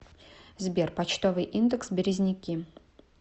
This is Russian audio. сбер почтовый индекс березники